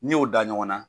N'i y'o da ɲɔgɔn na